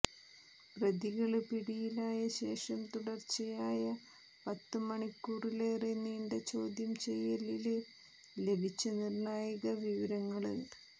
പ്രതികള് പിടിയിലായ ശേഷം തുടര്ച്ചയായ പത്ത് മണിക്കൂറിലേറെ നീണ്ട ചോദ്യം ചെയ്യലില് ലഭിച്ച നിര്ണായക വിവരങ്ങള്